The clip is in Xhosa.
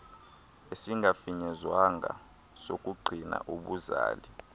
esingafinyezwanga sokungqina ubuzali